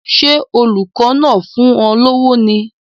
Ṣé olùkọ́ náà ń fún un lówó ni?